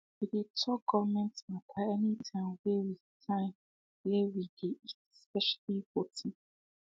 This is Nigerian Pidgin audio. we dey talk government matter any time way we time way we dey eat especially voting